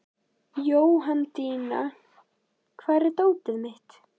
Jóhanndína, hvar er dótið mitt?